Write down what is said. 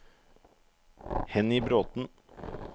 Henny Bråthen